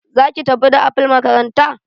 zaki tafi da apple makaranta?